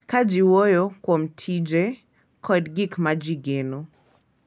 Ka ji wuoyo kuom tije kod gik ma ji geno,